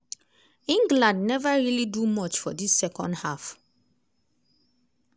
england never really do much for dis second half.